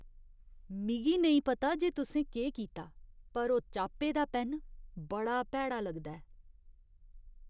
मिगी नेईं पता जे तुसें केह् कीता, पर ओह् चाप्पे दा पैन्न बड़ा भैड़ा लगदा ऐ।